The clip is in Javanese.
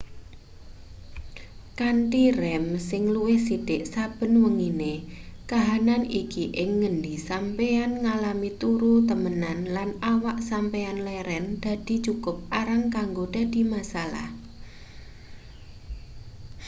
kanthi rem sing luwih sithik saben wengine kahanan iki ing ngendi sampeyan ngalami turu temenan lan awak sampeyan leren dadi cukup arang kanggo dadi masalah